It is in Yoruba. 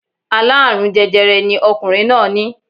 Aláàrùn jẹjẹrẹ ni ọkùnrin náà ní